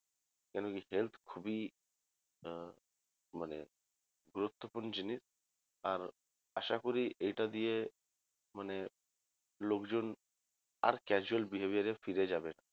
কেন কি health খুবই আহ মানে গুরুত্বপূর্ণ জিনিস আর আশা করি এটা দিয়ে মানে লোকজন আর casual behaviour এ ফিরে যাবে না